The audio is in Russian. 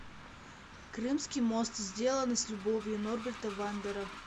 крымский мост сделано с любовью норберта вандера